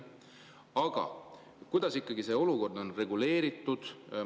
Aga kuidas see olukord on ikkagi reguleeritud?